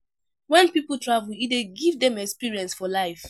When pipo travel e dey give dem experience for life